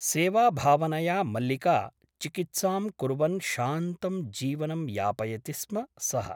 सेवाभावनया मल्लिका चिकित्सां कुर्वन् शान्तं जीवनं यापयति स्म सः ।